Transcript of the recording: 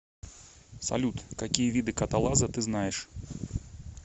салют какие виды каталаза ты знаешь